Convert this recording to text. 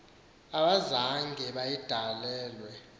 abazange bayidale lwe